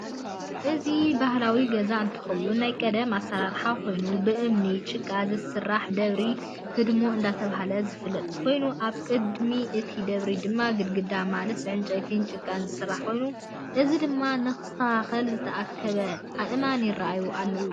እዚ ባህላዊ ገዛ እንትከውን ናይ ቀደም ኣሰራራሓ ኮይኑ ብእማኒን ጭቃን ዝስራሕ ደብሪን ሕድሞን እደተበህላ ዝፍለጥ ኮይኑ ኣብ ቅድ ሚ እቲ ደብሪ ድማ ግድግዳ ማለት ብዕንጨይቲን ጭቃን ዝስራሕ ኮይኑ ሕዚ ድማ ንክስታካክል ዝተኣከበ ኣእማን ይረአዩ ኣለው።